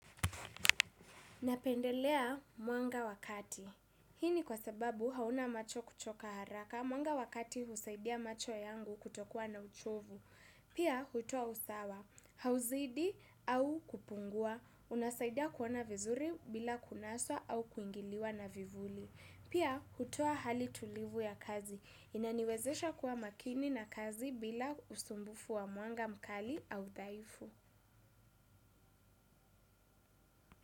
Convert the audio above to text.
Napendelea mwanga wa kati. Hii kwa sababu hauna macho kuchoka haraka mwanga wakati husaidia macho yangu kutokua na uchovu. Pia hutoa usawa, hauzidi au kupungua. Unasaidia kuona vizuri, bila kunaswa au kuingiliwa na vivuli. Pia hutua hali tulivu ya kazi. Inaniwezesha kuwa makini na kazi bila usumbufu wa mwanga mkali au daifu.